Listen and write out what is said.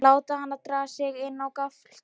Láta hana draga sig inn á gafl til sín.